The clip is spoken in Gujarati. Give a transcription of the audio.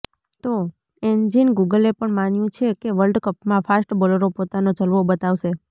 તો એન્જીન ગૂગલે પણ માન્યું છે કે વર્લ્ડ કપમાં ફાસ્ટ બોલરો પોતાનો જલવો બતાવશે